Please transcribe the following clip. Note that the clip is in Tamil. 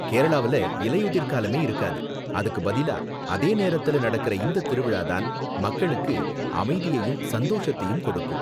கேரளாவுல இலையுதிர்காலமே இருக்காது, அதுக்கு பதிலா அதே நேரத்துல நடக்குற இந்த திருவிழா தான் மக்களுக்கு அமைதியையும் சந்தோஷத்தையும் கொடுக்கும்.